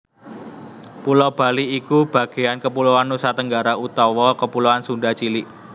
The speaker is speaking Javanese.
Pulo Bali iku bagéan kepuloan Nusatenggara utawa kepuloan Sunda cilik